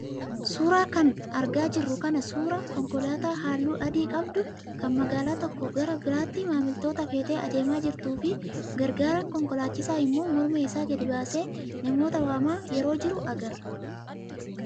Suuraa kanarra kan argaa jirru kun suuraa konkolaataa halluu adii qabdu kan magaalaa tokkoo gara biraatti maamiltoota feetee adeemaa jirtuu fi gargaaraan konkolaachisaa immoo morma isaa gadi baasee namoota waamaa yeroo jiru agarra.